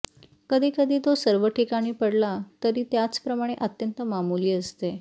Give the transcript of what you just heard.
कधी कधी तो सर्व ठिकाणी पडला तरी त्याचे प्रमाण अत्यंत मामुली असते